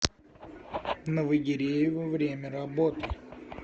новогиреево время работы